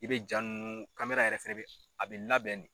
I bɛ jaa ninnu yɛrɛ fɛnɛ bɛ a bɛ labɛn de.